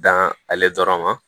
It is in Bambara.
Dan ale dɔrɔn ma